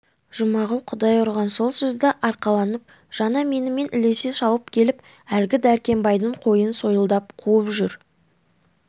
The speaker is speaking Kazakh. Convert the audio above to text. жұмағұл құдай ұрған сол сөзді арқаланып жаңа менімен ілесе шауып келіп әлгі дәркембайдың қойын сойылдап қуып жүр